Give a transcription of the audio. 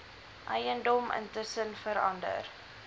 eiendom intussen verander